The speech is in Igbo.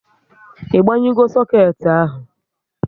I banyugo soket ahụ?